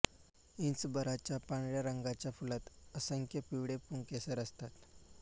इंचभराच्या पांढऱ्या रंगाच्या फुलांत असंख्य पिवळे पुंकेसर असतात